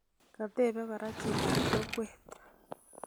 Katebei kora chitobkokwet